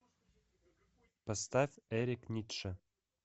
поставь эрик ницше